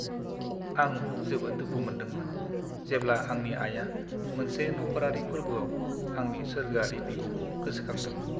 आं जोबोद दुखु मोन्दोंमोन, जेब्ला आंनि आइया मोनसे नखरारि फोर्बोआव आंनि सोर्गोआरि बिब'खौ गोसोखांदोंमोन।